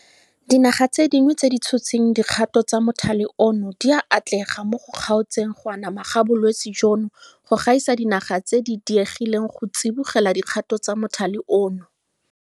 Dinaga tse dingwe tse di tshotseng dikgato tsa mothale ono di a atlega mo go kgaotseng go anama ga bolwetse jono go gaisa dinaga tse di diegileng go tsibogela dikgato tsa mothale ono.